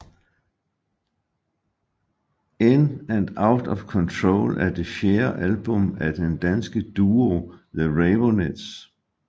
In And Out Of Control er det fjerde album af den danske duo The Raveonettes